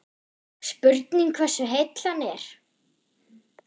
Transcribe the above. Spurning hversu heill hann er?